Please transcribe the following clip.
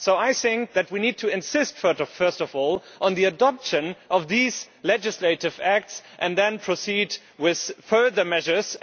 So I think that we need to insist first of all on the adoption of these legislative acts and then proceed with further measures.